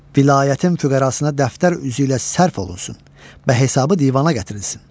Vilayətin füqərasına dəftər üzü ilə sərf olunsun və hesabı divana gətirilsin.